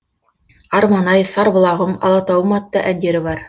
арман ай сарбұлағым алатауым атты әндері бар